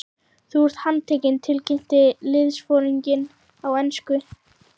Þú ert handtekinn tilkynnti liðsforinginn á ensku.